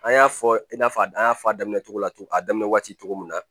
An y'a fɔ i n'a fɔ an y'a fɔ a daminɛ cogo la tugun a daminɛ waati cogo min na